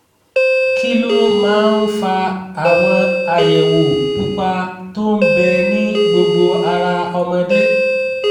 kí ló máa ń fa àwọn àyẹ̀wò pupa tó ń bẹ ní gbogbo ara ọmọdé?